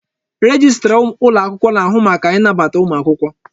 Rejistra ụlọ akwụkwọ na-ahụ maka ịnabata ụmụ akwụkwọ.